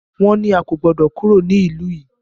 Wọ́n ní a kò gbọdọ̀ kúrò ní ìlú yìí!